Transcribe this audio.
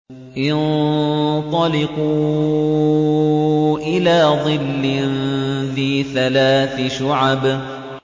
انطَلِقُوا إِلَىٰ ظِلٍّ ذِي ثَلَاثِ شُعَبٍ